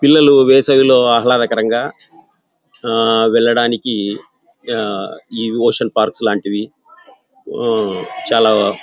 పిల్లలు వేసవి లో ఆహ్లదకరంగా ఆహ్ వెళ్ళడానికి ఈ ఓషన్ పార్క్స్ లాంటివి ఉమ్ చాలా--